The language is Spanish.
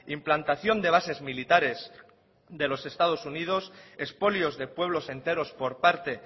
implantación de bases militares de los estados unidos expolios de pueblos enteros por parte